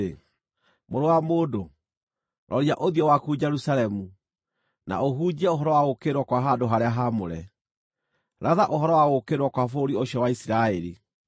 “Mũrũ wa mũndũ, roria ũthiũ waku Jerusalemu, na ũhunjie ũhoro wa gũũkĩrĩrwo kwa handũ-harĩa-haamũre. Ratha ũhoro wa gũũkĩrĩrwo kwa bũrũri ũcio wa Isiraeli,